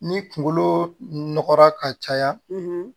Ni kunkolo nɔgɔra ka caya